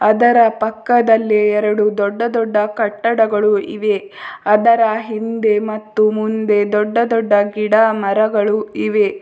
ಅದರ ಪಕ್ಕದಲ್ಲಿ ಎರಡು ದೊಡ್ಡ ದೊಡ್ಡ ಕಟ್ಟಡಗಳು ಇವೆ ಅದರ ಹಿಂದೆ ಮತ್ತು ಮುಂದೆ ದೊಡ್ಡ ದೊಡ್ಡ ಗಿಡ ಮರಗಳು ಇವೆ.